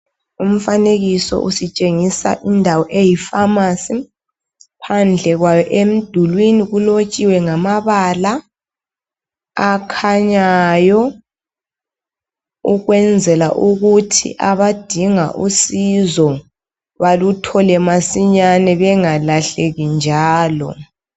Umfanekiso usitshengisa indawo eyi pharmacy phandle kwayo emdulini kulotshiwe ngamabala akhanyayo ukwenzela ukuthi abadinga usizo baluthole masinyani bengalahleki njalo